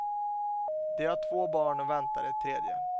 De har två barn och väntar ett tredje.